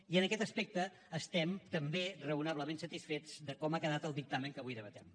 i en aquest aspecte estem també raonablement satisfets de com ha quedat el dictamen que avui debatem